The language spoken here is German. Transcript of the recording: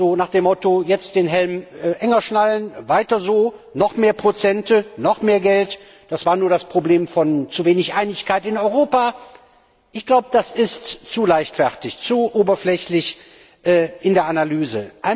So nach dem Motto Jetzt den Helm enger schnallen, Weiter so, Noch mehr Prozente, Noch mehr Geld, Das war nur das Problem von zu wenig Einigkeit in Europa ich glaube, das ist zu leichtfertig, zu oberflächlich in der Analyse.